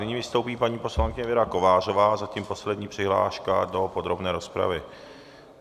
Nyní vystoupí paní poslankyně Věra Kovářová, zatím poslední přihláška do podrobné rozpravy.